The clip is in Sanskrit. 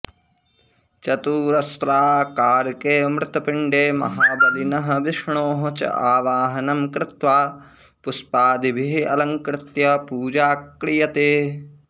चतुरस्राकारके मृत्पिण्डे महाबलिनः विष्णोः च आवाहनं कृत्वा पुष्पादिभिः अलङ्कृत्य पूजा क्रियते